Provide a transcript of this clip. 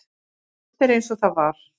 Allt er eins og það var.